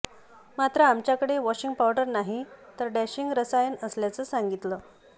मात्र आमच्याकडे washing powder नाही तर डॅशिंग रसायण असल्याचे सांगितले